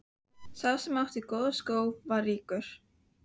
Sá sem átti góða skó var ríkur.